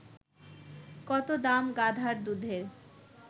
কত দাম গাধার দুধের